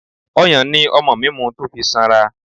Ọyàn ni ọmọ mi mu tó fi sanra.